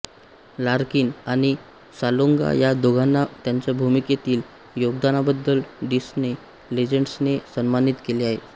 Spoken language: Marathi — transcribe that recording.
लार्किन आणि सालोंगा या दोघांना त्यांच्या भूमिकेतील योगदानाबद्दल डिस्ने लीजेंड्सने सन्मानित केले आहे